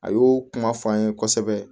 A y'o kuma fɔ an ye kosɛbɛ